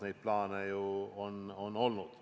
Neid plaane ju on olnud.